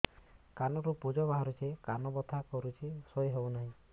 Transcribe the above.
କାନ ରୁ ପୂଜ ବାହାରୁଛି କାନ ବଥା କରୁଛି ଶୋଇ ହେଉନାହିଁ